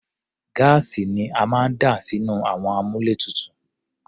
Gáàsì ni a máa ń dà sínú àwọn àmúlétuntun.